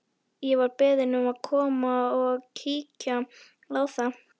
Ég var beðinn um að koma og kíkja á það.